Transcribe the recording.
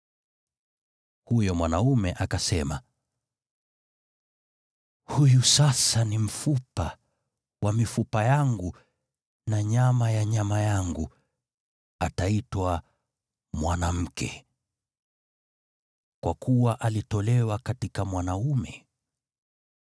Huyo mwanaume akasema, “Huyu sasa ni mfupa wa mifupa yangu na nyama ya nyama yangu, ataitwa ‘mwanamke,’ kwa kuwa alitolewa katika mwanaume.”